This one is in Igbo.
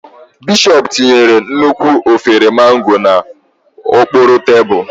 Bishọp tinyere nnukwu efere Mango n'okpuru tebụl.